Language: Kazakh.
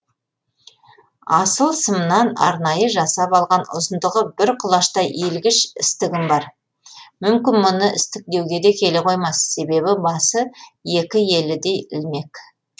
асыл сымнан арнайы жасап алған ұзындығы бір құлаштай иілгіш істігім бар мүмкін мұны істік деуге келе қоймас себебі басы екі елідей ілмек